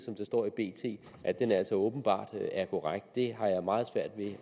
er åbenbart korrekt det har jeg meget svært ved